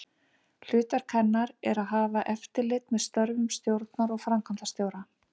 Hlutverk hennar er að hafa eftirlit með störfum stjórnar og framkvæmdastjóra.